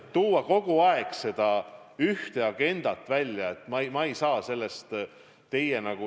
Tuua kogu aeg seda ühte agendat välja – ma ei saa sellest aru.